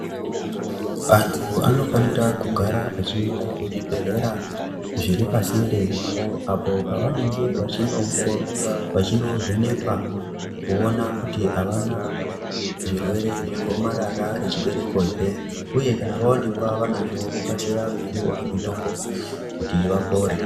Vantu vanofanira kugara veiende pazvibhedhlera zviri pasinde navo apo pavanenge vachinovhenekwa kuona kuti avana zvirwere zvegomarara rechibereko ere uye kana vaonekwa vanazvo vokasira kupiwe mitombo kuti vapore.